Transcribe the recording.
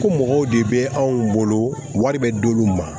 Ko mɔgɔw de bɛ anw bolo wari bɛ d'olu ma